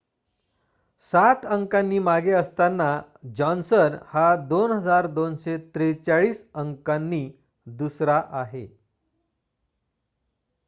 7 अंकांनी मागे असताना जॉन्सन हा 2,243 अंकांनी दुसरा आहे